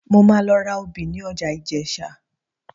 Mo máa lọ ra obì ní ọjà Ìjẹ̀sà